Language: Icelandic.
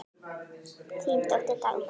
Þín dóttir, Dagmar.